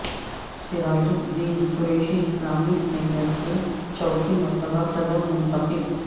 سراج uddin Qureshi Islamic centre کے چوتھی مرتبہ صدر منتخب